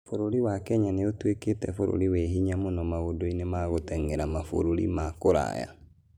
Bũrũri wa Kenya nĩ ũtuĩkĩte bũrũri wĩ hinya mũno maũndũ-inĩ ma gũteng'era mabũrũri ma kũraya.